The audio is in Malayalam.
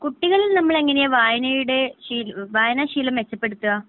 കുട്ടികളിൽ നമ്മള് എങ്ങനെയാ വായനയുടെ വായനാ ശീലം മെച്ചപ്പെടുത്തുക?